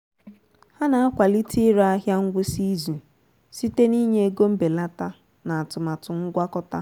ha na-akwalite ire ahịa ngwụsị izu site n'ịnye ego mbelata na atụmatụ ngwakọta